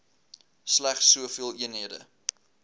slegs soveel eenhede